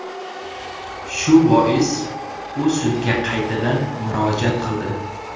Shu bois u sudga qaytadan murojaat qildi.